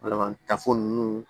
Walama tafo ninnu